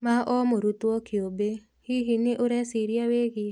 ma o mũrutwo kĩũmbe. Hihi, nĩ ũreciria wĩgie